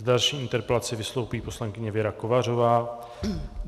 S další interpelací vystoupí poslankyně Věra Kovářová.